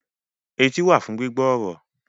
Etí wà fún gbígbọ́ ọ̀rọ̀